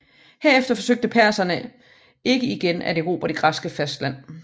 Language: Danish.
Herefter forsøgte perserne ikke igen at erobre det græske fastland